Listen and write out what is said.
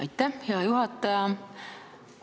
Aitäh, hea juhataja!